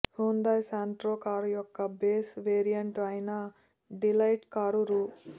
Hyundai Santro కారుయొక్క base variant ఐన delight car రూ